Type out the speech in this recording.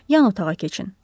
Yan otağa keçin.